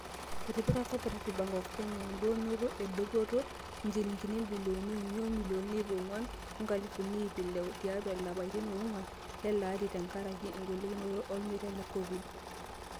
Etipika Co-operative Bank of Kenya (Coop Bank) edounoto e dupoto o injilingini bilioni uni imilioni iip oonguan o nkalifuni iip oile tiatu ilapatin oonguan leleari aa tengaraki golikinoto olmeitai le Covid-19.